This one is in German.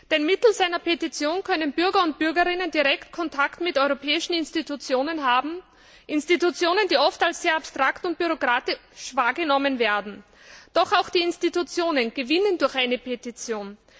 Denn mittels einer Petition können Bürger und Bürgerinnen direkt Kontakt mit europäischen Institutionen haben Institutionen, die oft als sehr abstrakt und bürokratisch wahrgenommen werden. Doch auch die Institutionen gewinnen durch eine Petition.